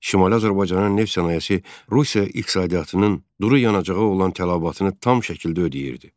Şimali Azərbaycanın neft sənayesi Rusiya iqtisadiyyatının duru yanacağa olan tələbatını tam şəkildə ödəyirdi.